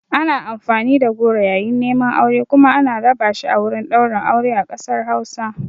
Ana amfani da goro yayin neman aure kuma ana raba shi a wurin ɗaurin aure a ƙasar Hausa.